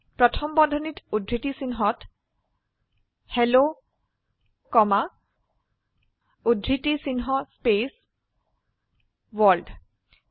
প্ৰথম বন্ধনীত উদ্ধৃতি চিনহত হেল্ল কমা উদ্ধৃতি চিহ্ন স্পেস ৱৰ্ল্ড